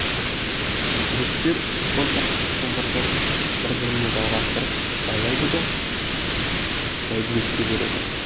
жігіттер он шақты шылбырды бір біріне жалғастырып байлайды да бәйдібекке береді